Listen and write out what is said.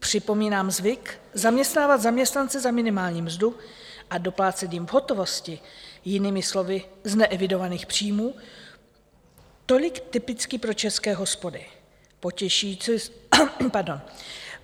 Připomínám zvyk zaměstnávat zaměstnance za minimální mzdu a doplácet jim v hotovosti, jinými slovy z neevidovaných příjmů, tolik typicky pro české hospody.